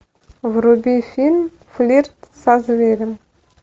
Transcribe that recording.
вруби фильм флирт со зверем